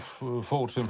fór sem